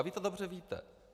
A vy to dobře víte.